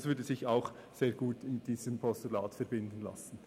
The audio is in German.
Das würde sich auch sehr gut mit diesem Postulat verbinden lassen.